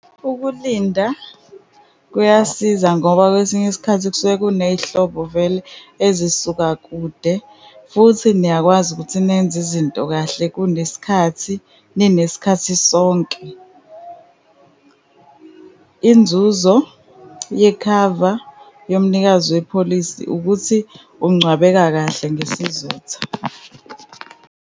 Ukulinda kuyasiza ngoba kwesinye isikhathi kusuke kuney'hlobo vele ezisuka kude, futhi niyakwazi ukuthi nenze izinto kahle kunesikhathi, ninesikhathi sonke. Inzuzo yekhava yomnikazi wepholisi ukuthi ungcwabeka kahle ngesizotha.